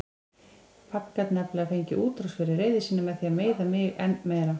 Pabbi gat nefnilega fengið útrás fyrir reiði sína með því að meiða mig enn meira.